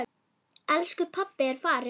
Elsku pabbi er farinn.